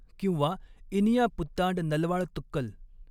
किंवा 'इनिया पुत्तांड नलवाळतुक्कल!